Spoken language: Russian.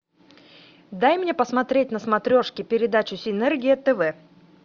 дай мне посмотреть на смотрешке передачу синергия тв